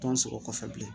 Tɔn sɔrɔ kɔfɛ bilen